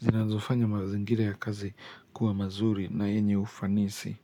zinazofanya mazingira ya kazi kuwa mazuri na yenye ufanisi.